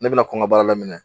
Ne bɛna kɔn ka baara daminɛ.